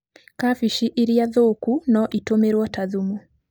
Kabici ĩrĩa thũku no ĩtũmĩrwo ta thumu.